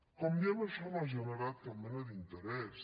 com diem això no ha generat cap mena d’interès